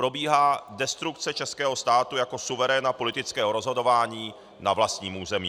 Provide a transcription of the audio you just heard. Probíhá destrukce českého státu jako suveréna politického rozhodování na vlastním území.